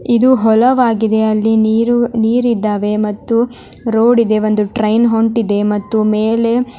ಇದು ಹೊಲವಾಗಿದೆ ಅಲ್ಲಿ ನೀರು--ನೀರಿದ್ದಾವೆ ಮತ್ತು ರೋಡ್ ಇದೆ ಒಂದು ಟ್ರೈನ್ ಹೊಂಟಿದೆ ಮತ್ತು ಮೇಲೆ